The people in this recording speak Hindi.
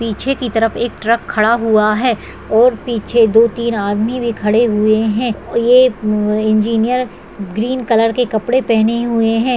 पीछे की तरफ एक ट्रक खड़ा हुआ है ओर पीछे दो टीन आदमी भी खड़े हुए है ओर यह इंजीनियर ग्रीन कलर के कपड़े पहने हुए है।